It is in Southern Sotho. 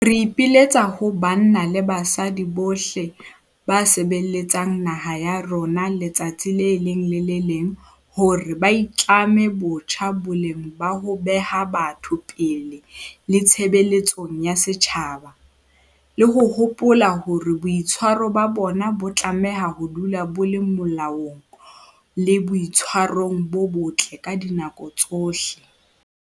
Re ipiletsa ho banna le basadi bohle ba sebeletsang naha ya rona letsatsi le leng le le leng hore ba itlame botjha boleng ba ho beha batho pele le tshebeletsong ya setjhaba, le ho hopola hore boitshwaro ba bona bo tlameha ho dula bo le molaong le boitshwarong bo botle ka dinako tsohle.